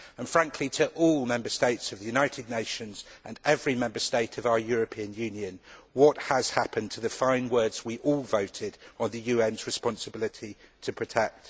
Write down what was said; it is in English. Frankly, I would ask all Member States of the United Nations and every Member State of our European Union what has happened to the fine words we all voted on concerning the UN's responsibility to protect.